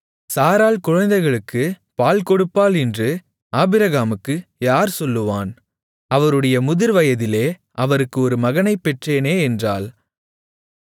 சாராள் குழந்தைகளுக்குப் பால்கொடுப்பாள் என்று ஆபிரகாமுக்கு யார் சொல்லுவான் அவருடைய முதிர்வயதிலே அவருக்கு ஒரு மகனைப் பெற்றேனே என்றாள்